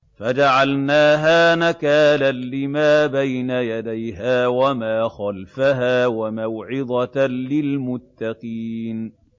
فَجَعَلْنَاهَا نَكَالًا لِّمَا بَيْنَ يَدَيْهَا وَمَا خَلْفَهَا وَمَوْعِظَةً لِّلْمُتَّقِينَ